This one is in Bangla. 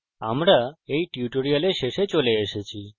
আমরা we tutorial শেষে চলে এসেছি